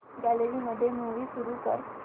gallery मध्ये movie सुरू कर